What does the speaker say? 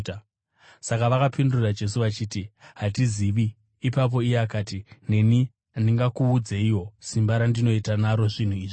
Saka vakapindura Jesu vachiti, “Hatizivi.” Ipapo iye akati, “Neni handingakuudzeiwo simba randinoita naro zvinhu izvi.”